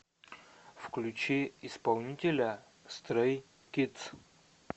включи исполнителя стрэй кидс